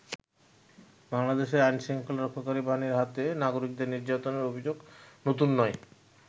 বাংলাদেশে আইন শৃঙ্খলা রক্ষাকারী বাহিনীর হাতে নাগরিকদের নির্যাতনের অভিযোগ নতুন নয়।